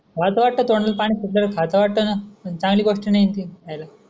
अस वाटत तोंडाल पानी सुटत खाऊस्या वाटत न चांगली गोस्ट नाही न ती खायला.